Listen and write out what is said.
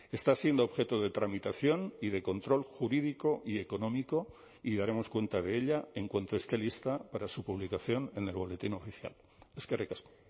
está siendo objeto de tramitación y de control jurídico y económico y daremos cuenta de ella en cuanto esté lista para su publicación en el boletín oficial eskerrik asko